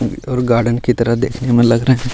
और गार्डन की तरह देखने में लग रहे हैं।